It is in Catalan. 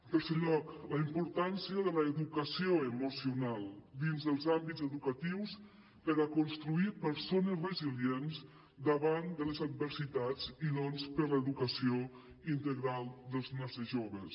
en tercer lloc la importància de l’educació emocional dins dels àmbits educatius per a construir persones resilients davant de les adversitats i doncs per l’educació integral dels nostres joves